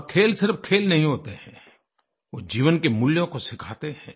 और खेल सिर्फ खेल नहीं होते हैं वह जीवन के मूल्यों को सिखाते हैं